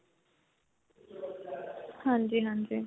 ਹਾਂਜੀ, ਹਾਂਜੀ.